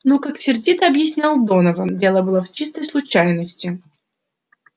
но как сердито объяснял донован дело было в чистой случайности